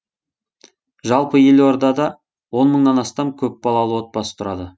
жалпы елордада он мыңнан астам көпбалалы отбасы тұрады